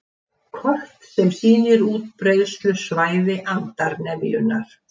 Kort sem sýnir útbreiðslusvæði andarnefjunnar